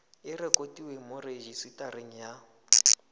e rekotiwe mo rejisetareng ya